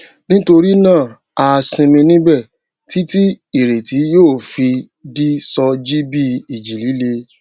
nítorí náà a sinmi níbẹ títí ìrètí yóò fi di sọ jí bí ìjì líle